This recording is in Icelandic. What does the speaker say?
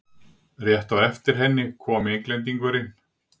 Rétt á eftir henni kom Englendingurinn.